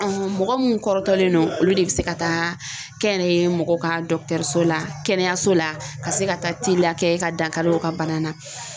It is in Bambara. mɔgɔ minnu kɔrɔtɔlen do olu de bɛ se ka taa kɛnyɛrɛye mɔgɔ ka so la kɛnɛyaso la ka se ka taa teliya kɛ ka dankari u ka bana na.